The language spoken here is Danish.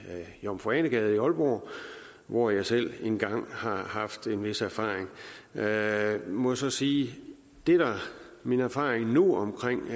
jomfru ane gade i aalborg hvor jeg selv en gang har haft en vis erfaring jeg må så sige at min erfaring nu